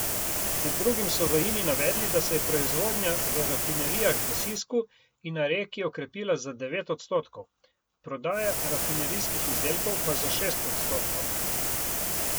Med drugim so v Ini navedli, da se je proizvodnja v rafinerijah v Sisku in na Reki okrepila za devet odstotkov, prodaja rafinerijskih izdelkov pa za šest odstotkov.